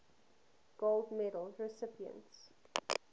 gold medal recipients